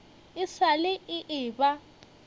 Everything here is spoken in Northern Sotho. e sa le e eba